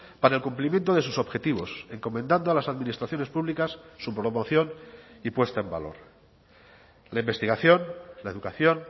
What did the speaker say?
para el cumplimiento de sus objetivos encomendando a las administraciones públicas su promoción y puesta en valor la investigación la educación